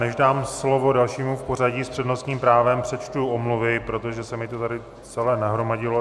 Než dám slovo dalšímu v pořadí s přednostním právem, přečtu omluvy, protože se mi to tady celé nahromadilo.